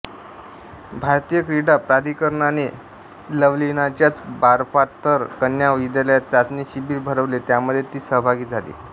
भारतीय क्रीडा प्राधिकरणाने लवलिनाच्याच बारपाथर कन्या विद्यालयात चाचणी शिबीर भरवले त्यामध्ये ती सहभागी झाली